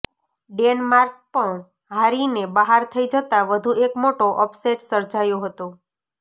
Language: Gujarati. ડેનમાર્ક પણ હારીને બહાર થઇ જતા વધુ એક મોટો અપસેટ સર્જાયો હતો